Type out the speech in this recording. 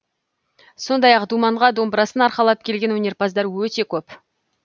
сондай ақ думанға домбырасын арқалап келген өнерпаздар өте көп